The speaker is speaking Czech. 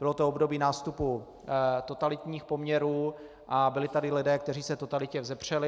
Bylo to období nástupu totalitních poměrů a byli tady lidé, kteří se totalitě vzepřeli.